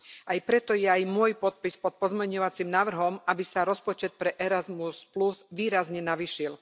Aj preto je aj môj podpis pod pozmeňujúcim návrhom, aby sa rozpočet pre Erasmus výrazne navýšil.